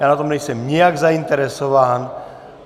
Já na tom nejsem nijak zainteresován.